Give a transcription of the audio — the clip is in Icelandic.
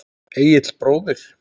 Egill bróðir.